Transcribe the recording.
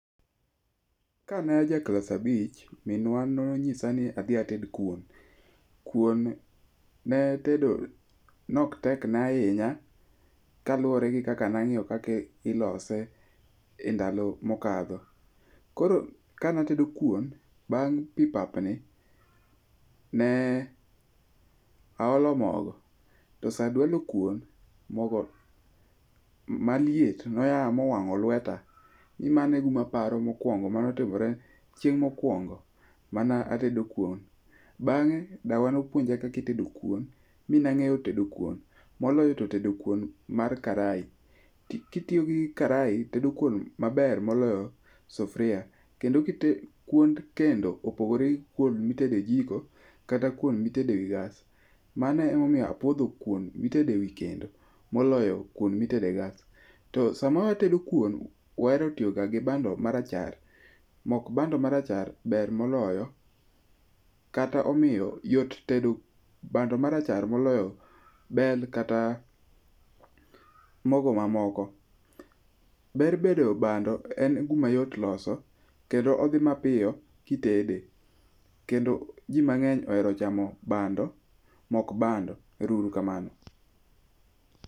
Ka naja klas abich, minwa nony'isa ni adhi ated kuon. Kuon ne tedo ok tekna ahinya kaluwore gi kaka nang'iyo kaka ilose e ndalo mokadho. Koro kanatedo kuon, bang' pi papni, ne aolo mogo to sa dualo kuon, mogo maliet noya mowango lweta. Mane e guma aparo mokwongo manotimore chieng' mokwongo manatedo kuon. Bang'e dawa nopuonja kaka itedo kuon mi nang'eyo tedo kuon moloyo to tedo kuon mar karai. Kitiyo gi karai tedo kuon maber moloyo sufria kendo kuon kendo opogore gi kuon mitede jiko kata kuon mitede gas. Mano emomiyo apuodho kuon mitede ewi kendo moloyo kuon mitede e gas. To sama watedo kuon wahero tiyoga gi bando marachar. Mok bando marachar ber moloyo kata omiyo yot tedo bando marachar moloyo bel kata mogo mamoko. Ber bedo bando en guma yot loso kendo odhi mapiyo kitede kendo ji mang'eny ohero chamo mok bando, ero uru kamano.